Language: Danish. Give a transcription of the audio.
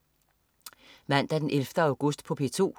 Mandag den 11. august - P2: